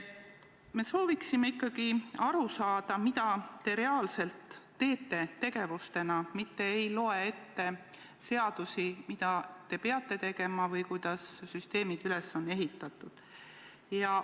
Me sooviksime ikkagi aru saada, mida te reaalselt teete, mitte ärge lugege ette seadustest, mida te peate tegema või kuidas süsteemid on üles ehitatud.